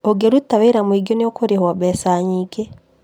ũngĩruta wĩra mũingĩ nĩũkũrĩhwo mbeca nyingi